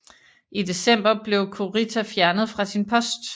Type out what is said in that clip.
I december blev Kurita fjernet fra sin post